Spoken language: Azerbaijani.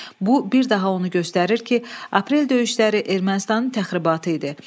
Bu bir daha onu göstərir ki, Aprel döyüşləri Ermənistanın təxribatı idi.